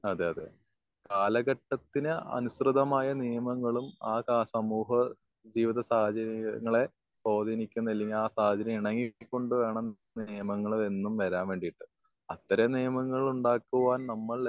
അതെ അതെ അതെ. കാലഘട്ടത്തിന് അനുസൃതമായ നിയമങ്ങളും ആ കാ സമൂഹ ജീവിത സാഹചര്യങ്ങളെ സ്വാതീനിക്കുന്ന അല്ലെങ്കി ആ സാഹചര്യങ്ങൾ ഇണയിരുത്തി കൊണ്ട് വേണം നിയമങ്ങള് എന്നും വരാൻ വേണ്ടിട്ട്. അത്തരം നിയമങ്ങള് ഉണ്ടാക്കുവാൻ